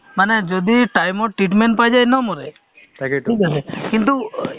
তেওঁলোক যেনেকেধৰণে কৈছে আমিও মানিব লাগিব তেতিয়াহে আগবাঢ়িব যিকোনো কথা হয়নে